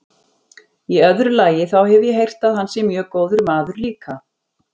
Í öðru lagi, þá hef ég heyrt að hann sé mjög góður maður líka.